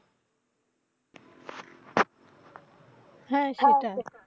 হ্যাঁ সেটাই।